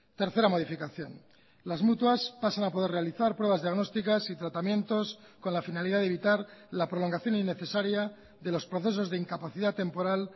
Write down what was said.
tercera modificación las mutuas pasan a poder realizar pruebas diagnósticas y tratamientos con la finalidad de evitar la prolongación innecesaria de los procesos de incapacidad temporal